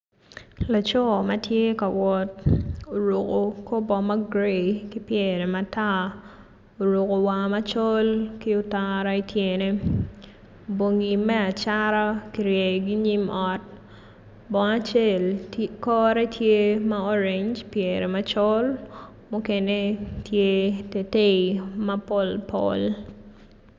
Laco ma tye ka wot oruko kor bongo ma gray ki pyere matar oruko war macol ki otara ityene bongi me acata kjiryeyogi inyim ot bongo acel kore tye ma oreny ki pyere macol mukene tye teitei ma pol pol.